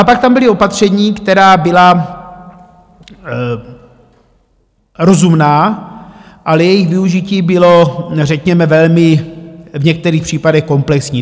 A pak tam byla opatření, která byla rozumná, ale jejich využití bylo řekněme velmi v některých případech komplexní.